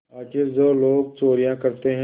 आखिर जो लोग चोरियॉँ करते हैं